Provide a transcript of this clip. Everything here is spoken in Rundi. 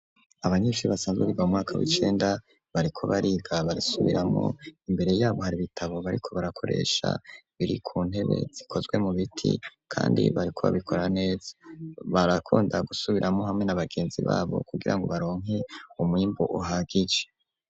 Abanyeshuri basanzwe biga mu mwaka w'icenda bariko bariga barisubiramwo imbere yabo hari bitabo bariko barakoresha biri ku ntebe zikozwe mu biti kandi bariko babikora neza, barakunda gusubiramwo hamwe nabagenzi babo kugirango baronke umwimbu uhagije.